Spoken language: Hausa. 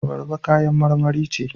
Abarba kayan marmari ce.